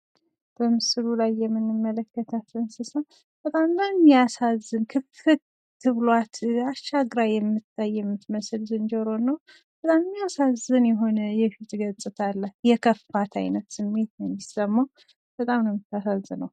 በምስሉ ላይ የምንመለከታቸው እንስሳ በጣም የሚያሳዝን ክፍት ብሉዋት አሻግራ የምትመለከት አይነት ዝንጀሮን ነው ፤ በጣም ነው ምታሳዝነው።